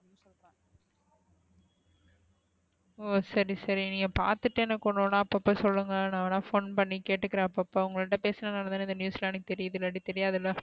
ஒ சரி சரி நீங்க பாத்துட்டு எனக்கு ஒன்னு ஒன்னா இப்போ சொல்லுங்க நா வேணுன phone பண்ணி கேட்கிறேன் அப்போ அப்போ உங்கட்ட பேசுனனாலா தான இந்த news லாம் எனக்கு தெயர்யுது இல்லட்டி தெரியதுல,